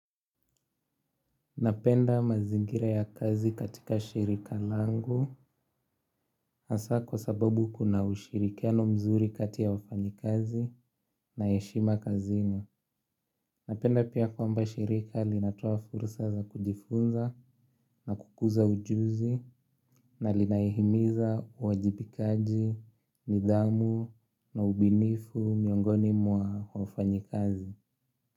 Napenda mazingira ya kazi katika shirika langu asa kwa sababu kuna ushirikiano mzuri kati ya wafanyikazi na heshima kazini napenda pia kwamba shirika linatoa fursa za kujifunza na kukuza ujuzi na linahimiza uwajibikaji, nidhamu na ubunifu miongoni mwa wafanyi kazi.